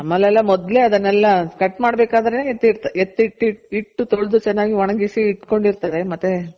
ನಮ್ಮಲ್ಲಿ ಎಲ್ಲಾ ಮೊದ್ಲೇ ಅದನ್ನೆಲ್ಲ cut ಮಾಡ್ಬೇಕಾದ್ರೆ ಎತ್ತಿ ಇಟ್ಟು ತೊಳೆದು ಚೆನ್ನಾಗಿ ಒಣಗಿಸಿ ಇಟ್ಕೊಂಡಿರ್ತಾರೆ ಮತ್ತೆ